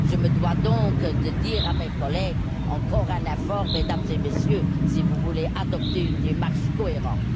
Je me dois donc de dire à mes collègues Encore un effort, Mesdames et Messieurs, si vous voulez adopter une démarche cohérente.